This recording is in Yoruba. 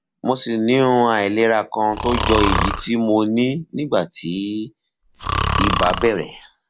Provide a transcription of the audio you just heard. mo ṣì ní um àìlera kan tó jọ èyí tí mo ní nígbà tí ibà bẹrẹ